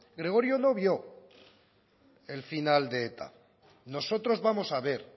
gregorio no vio el final de eta nosotros vamos a ver